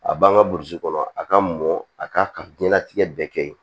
A b'an ka burusi kɔnɔ a ka mɔn a ka diɲɛnatigɛ bɛɛ kɛ ye